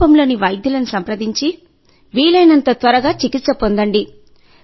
సమీపంలోని వైద్యులను సంప్రదించి వీలైనంత త్వరగా చికిత్స పొందండి